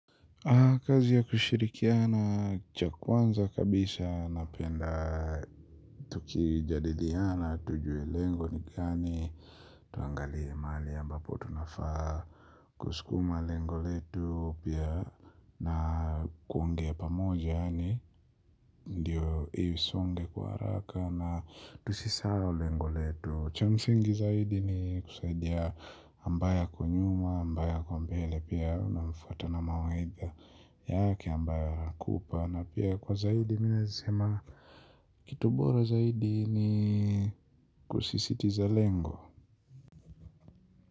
Kazi ya kushirikiana cha kwanza kabisa napenda tukijadiliana tujue lengo ni gani tuangalie mahali ambapo tunafaa kusukuma lengo letu pia na kuongea pamoja yani ndiyo isonge kwa haraka na tusisahau lengo letu cha msingi zaidi ni kusaidia ambae ako nyuma, ambae ako mbele. Pia unamfata na mawaidha yake ambayo atakupa na pia kwa zaidi mi naweza sema kitu bora zaidi ni kusisitiza lengo.